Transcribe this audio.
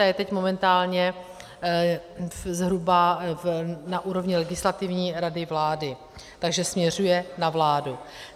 Ta je teď momentálně zhruba na úrovni Legislativní rady vlády, takže směřuje na vládu.